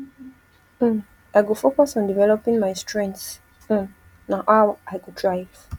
um i go focus on developing my strengths um na how i go thrive